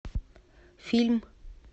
фильм